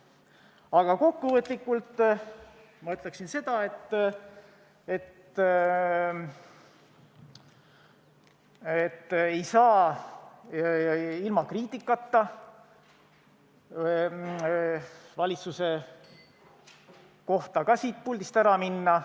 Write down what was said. Aga kokkuvõtteks ma ütleksin seda, et ma ei saa ilma valitsuse kohta kriitikat tegemata siit puldist ära minna.